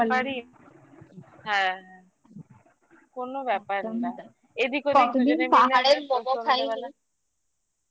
কতদিন পাহাড়ের momo খাইনি